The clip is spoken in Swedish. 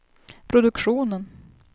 produktionen